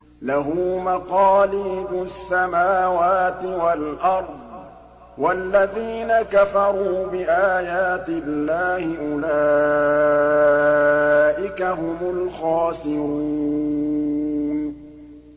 لَّهُ مَقَالِيدُ السَّمَاوَاتِ وَالْأَرْضِ ۗ وَالَّذِينَ كَفَرُوا بِآيَاتِ اللَّهِ أُولَٰئِكَ هُمُ الْخَاسِرُونَ